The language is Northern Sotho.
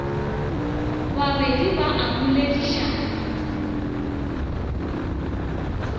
ba babedi ba a boledišana